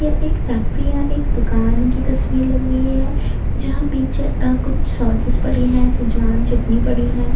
यह एक फैक्ट्री या एक दुकान की तस्वीर लग रही है जहां पीछे कुछ सॉसेस पड़ी है सचेज़वान चटनी पड़ी है।